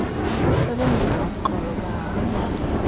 abasebenzela uxolo bahamba